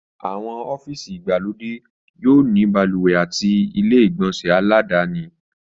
Àwọn ọ́fíìsì ìgbàlódé yóò ní balùwẹ̀ àti ilé ìgbọ̀nsẹ̀ aládàáni